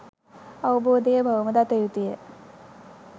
අවබෝධය බවම දත යුතුය